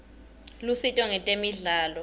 lusito ngetemidlalo